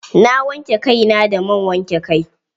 Na wanke kai na da man wanke kai.